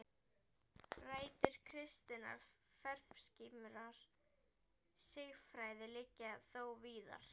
Rætur kristinnar femínískrar siðfræði liggja þó víðar.